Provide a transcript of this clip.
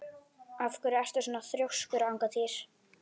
Af hverju ertu svona þrjóskur, Angantýr?